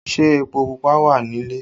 Ṣé epo Pupa wà nílé?